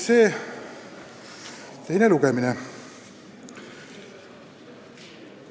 Täna on teine lugemine.